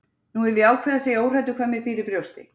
Nú hef ég ákveðið að segja óhræddur hvað mér býr í brjósti.